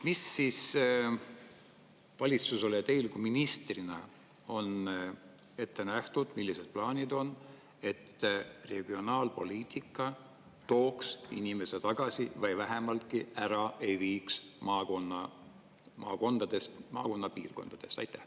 Mis siis valitsusel teile ministrina on ette nähtud, millised plaanid on, et regionaalpoliitika tooks inimese tagasi või vähemalt ära ei viiks maakondadest, maakonnapiirkondadest?